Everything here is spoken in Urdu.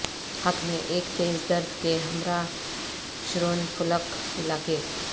حق میں ایک تیز درد کے ہمراہ شرونیفلک علاقے